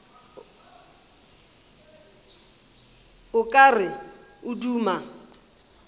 o ka re o duma